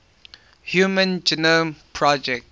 human genome project